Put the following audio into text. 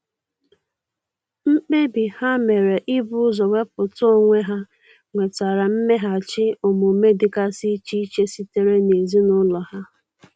Mkpebi ha mere ibu ụzọ wepụta onwe ha nwetara mmeghachi omume dịgasi iche iche sitere n'ezinụlọ ha.